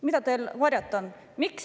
Mida teil varjata on?